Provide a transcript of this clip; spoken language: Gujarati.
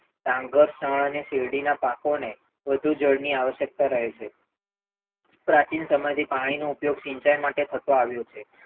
ડાંગર શણ અને શેરડીના પાકોને વધુ જલ્દી આવશ્યકતા રહે છે પ્રાચીન સમયથી પાણીનો ઉપયોગ સિંચાઈ માટે થતો આવ્યો છે.